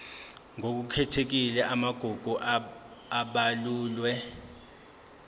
ngokukhethekile amagugu abalulwe